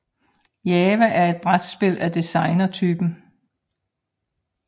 Java er et brætspil af designertypen